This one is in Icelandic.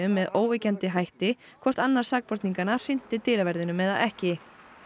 með óyggjandi hætti hvort annar sakborninganna hrinti dyraverðinum eða ekki